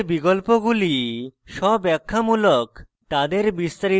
pop up মেনুতে বিকল্পগুলি স্বব্যাখ্যামূলক